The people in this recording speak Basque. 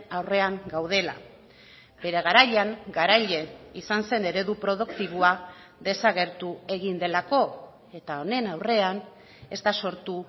aurrean gaudela bere garaian garaile izan zen eredu produktiboa desagertu egin delako eta honen aurrean ez da sortu